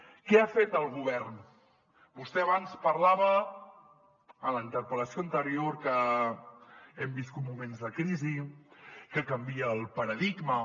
què ha fet el govern vostè abans parlava en la interpel·lació anterior que hem viscut moments de crisi que canvia el paradigma